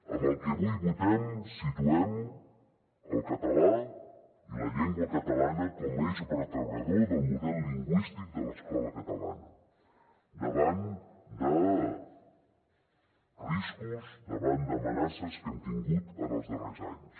amb el que avui votem situem el català i la llengua catalana com a eix vertebrador del model lingüístic de l’escola catalana davant de riscos davant d’amenaces que hem tingut en els darrers anys